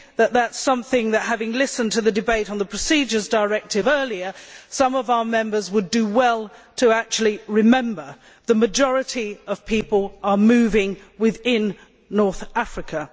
That is something that, having listened to the debate on the Procedures Directive earlier, some of our Members would do well to remember the majority of people are moving within North Africa.